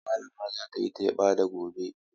Malama za ta yi teba da gobe.